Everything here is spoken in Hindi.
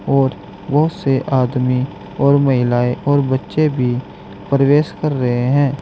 और बहुत से आदमी और महिलाएं और बच्चे भी प्रवेश कर रहे हैं।